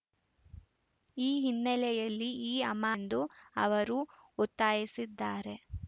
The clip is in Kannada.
ಈ ಹಿನ್ನೆಲೆಯಲ್ಲಿ ಈ ಅಮಾನ್ದು ಅವರು ಒತ್ತಾಯಿಸಿದ್ದಾರೆ